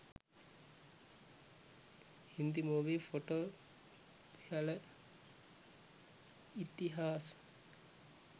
hindi movie photo pehla itihaas